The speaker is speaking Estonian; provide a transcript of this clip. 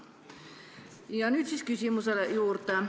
Aga nüüd siis küsimuse juurde.